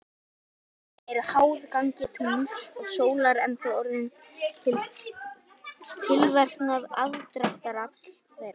Sjávarföll eru háð gangi tungls og sólar enda orðin til fyrir tilverknað aðdráttarafls þeirra.